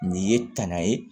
Nin ye tanna ye